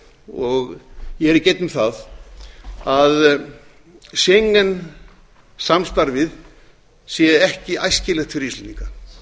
og ég er ekki einn um það að schengen samstarfið sé ekki æskilegt fyrir íslendinga